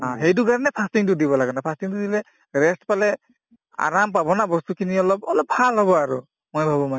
অ, সেইটো কাৰণে fasting টো দিব লাগে মানে fasting টো দিলে rest পালে আৰাম পাব না বস্তুখিনি অলপ অলপ ভাল হব আৰু মই ভাবো মানে